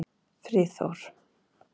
Friðþór